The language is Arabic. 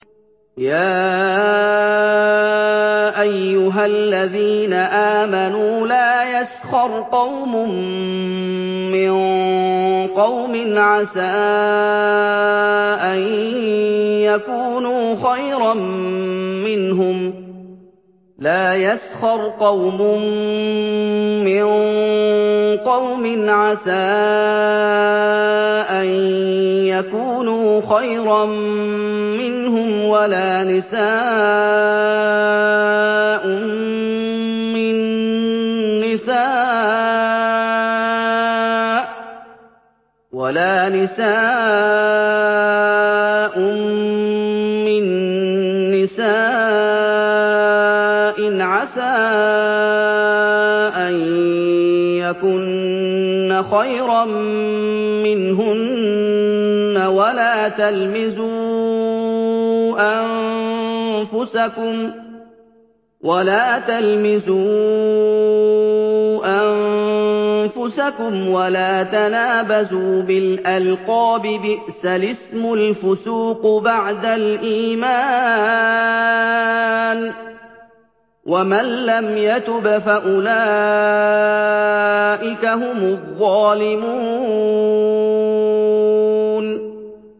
يَا أَيُّهَا الَّذِينَ آمَنُوا لَا يَسْخَرْ قَوْمٌ مِّن قَوْمٍ عَسَىٰ أَن يَكُونُوا خَيْرًا مِّنْهُمْ وَلَا نِسَاءٌ مِّن نِّسَاءٍ عَسَىٰ أَن يَكُنَّ خَيْرًا مِّنْهُنَّ ۖ وَلَا تَلْمِزُوا أَنفُسَكُمْ وَلَا تَنَابَزُوا بِالْأَلْقَابِ ۖ بِئْسَ الِاسْمُ الْفُسُوقُ بَعْدَ الْإِيمَانِ ۚ وَمَن لَّمْ يَتُبْ فَأُولَٰئِكَ هُمُ الظَّالِمُونَ